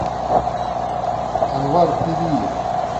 анвар периев